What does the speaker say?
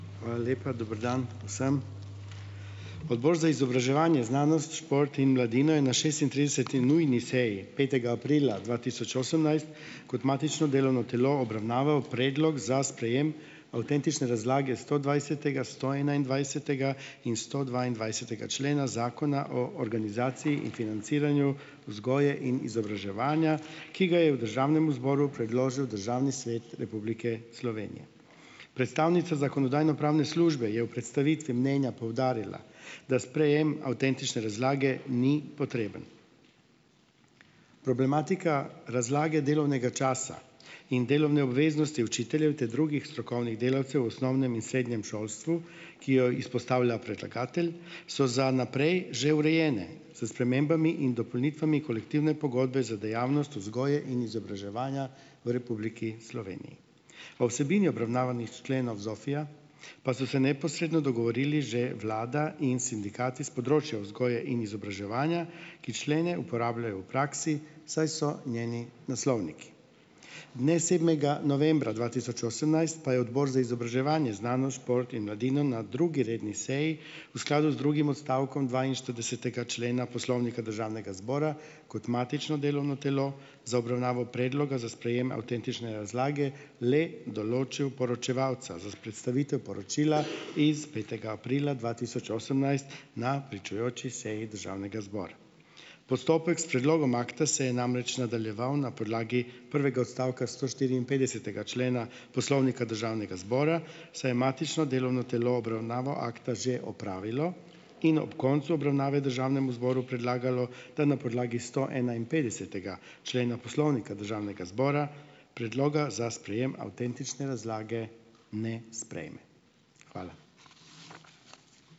Hvala lepa. Dobro dan vsem! Odbor za izobraževanje, znanost, šport in mladino je na šestintrideseti nujni seji, petega aprila dva tisoč osemnajst kot matično delovno telo obravnaval predlog za sprejem avtentične razlage stodvajsetega, stoenaindvajsetega in stodvaindvajsetega člena Zakona o organizaciji in financiranju vzgoje in izobraževanja, ki ga je v državnem zboru predložil Državni svet Republike Slovenije. Predstavnica Zakonodajno-pravne službe je v predstavitvi mnenja poudarila, da sprejem avtentične razlage ni potreben. Problematika razlage delovnega časa in delovne obveznosti učiteljev ter drugih strokovnih delavcev v osnovnem in srednjem šolstvu, ki jo izpostavlja predlagatelj, so za naprej že urejene s spremembami in dopolnitvami kolektivne pogodbe za dejavnost vzgoje in izobraževanja v Republiki Sloveniji. O vsebini obravnavanih členov ZOFVI-ja pa so se neposredno dogovorili že vlada in sindikati s področja vzgoje in izobraževanja, ki člene uporabljajo v praksi, saj so njeni naslovniki. Dne sedmega novembra dva tisoč osemnajst pa je Odbor za izobraževanje, znanost, šport in mladino na drugi redni seji v skladu z drugim odstavkom dvainštiridesetega člena Poslovnika Državnega zbora kot matično delovno telo za obravnavo Predloga za sprejem avtentične razlage le določil poročevalca za predstavitev poročila iz petega aprila dva tisoč osemnajst na pričujoči seji državnega zbora. Postopek s predlogom akta se je namreč nadaljeval na podlagi prvega odstavka stoštiriinpetdesetega člena Poslovnika Državnega zbora, saj je matično delovno telo obravnavo akta že opravilo in ob koncu obravnave državnemu zboru predlagalo, da na podlagi stoenainpetdesetega člena Poslovnika Državnega zbora Predloga za sprejem avtentične razlage ne sprejme. Hvala.